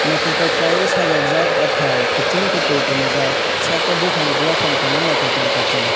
naitotok kelaioe sajokjhak o tai kuchung ke tui tonrijak site bopang naitok naitok ke.